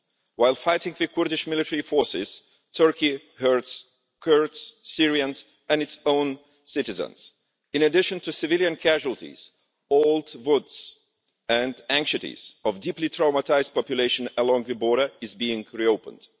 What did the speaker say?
While fighting the Kurdish military forces, Turkey hurts Kurds, Syrians and its own citizens. In addition to civilian casualties, the old wounds and anxieties of a deeply traumatised population along the border are being reopened.